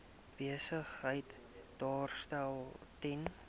besigheid daarstel ten